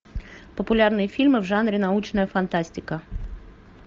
популярные фильмы в жанре научная фантастика